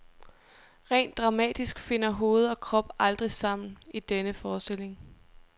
Rent dramatisk finder hoved og krop aldrig sammen i denne forestilling.